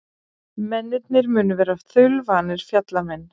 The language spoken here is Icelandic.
Mennirnir munu vera þaulvanir fjallamenn